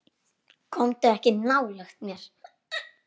Komdu ekki nálægt mér.